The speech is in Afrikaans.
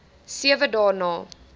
sewe dae na